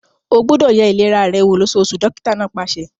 O gbúdọ̀ ye ìlera rẹ wò lósóosù! dókítà náà pàṣẹ.